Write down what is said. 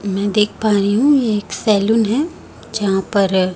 मैं देख पा रहीं हूंँ ये एक सैलून है जहाँ पर--